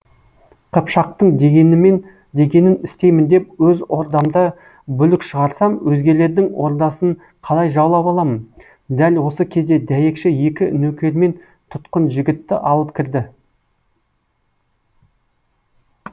қыпшақтың дегенін істеймін деп оз ордамда бүлік шығарсам өзгелердің ордасын қалай жаулап алам дәл осы кезде дәйекші екі нөкермен тұтқын жігітті алып кірді